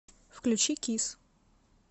включи кисс